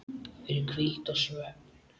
fyrir hvíld og svefn